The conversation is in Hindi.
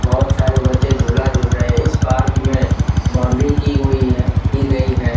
बहुत सारे बच्चे झूला झूल रहे हैं इस पार्क में बाउंड्री की हुई की गई है।